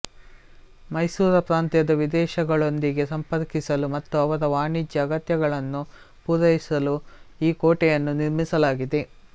ಮೈಸೂರ ಪ್ರಾಂತ್ಯಕ್ಕೆ ವಿದೇಶಗಳೊಂದಿಗೆ ಸಂಪರ್ಕಿಸಲು ಮತ್ತು ಅವರ ವಾಣಿಜ್ಯ ಅಗತ್ಯಗಳನ್ನು ಪೂರೈಸಲು ಈ ಕೋಟೆಯನ್ನು ನಿರ್ಮಿಸಲಾಗಿದೆ